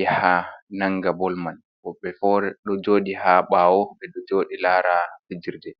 yaha nanga bol man, woɓɓe bo ɗo joɗi ha ɓaawo ɓe ɗo joɗi lara fijirde.